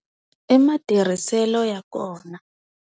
I matirhiselo ya kona.